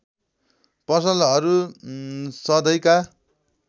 पसलहरू सधैँका